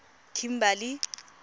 kimberley